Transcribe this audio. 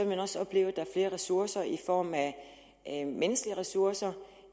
man også opleve at der er flere ressourcer i form af menneskelige ressourcer